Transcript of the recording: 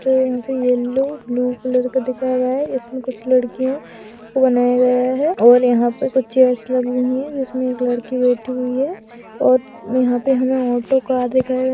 तो यहाँ पे येलो ब्लू कलर का दिखाया गया है इसमे कुछ लड़कियों को बनाया गया है और यहाँ पे कुछ चेयर्स लगी हुई है जिसमे एक लड़की बैठी हुई है और यहां पे हमे ऑटो कार दिख --